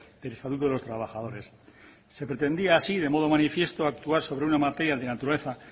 del estatuto de los trabajadores se pretendía así de modo manifiesto actuar sobre una materia de naturaleza